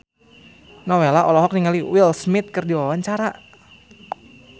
Nowela olohok ningali Will Smith keur diwawancara